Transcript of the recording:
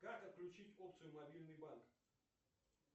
как отключить опцию мобильный банк